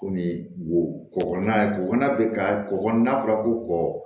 Komi wo kɔgɔ ye kɔgɔ bɛ ka kɔgɔ n'a fɔra ko kɔkɔ